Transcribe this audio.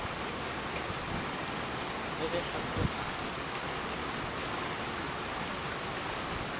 le ge a se a